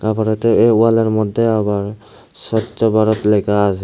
আবার এটা এই ওয়ালের মধ্যে আবার স্বচ্ছ ভারত লেখা আসে।